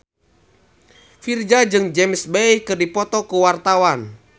Virzha jeung James Bay keur dipoto ku wartawan